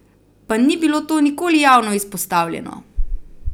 Pa ni bilo to nikoli javno izpostavljeno!